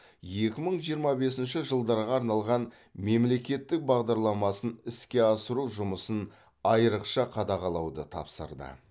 екі мың жиырма бесінші жылдарға арналған мемлекеттік бағдарламасын іске асыру жұмысын айрықша қадағалауды тапсырды